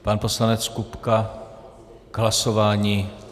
Pan poslanec Kupka k hlasování.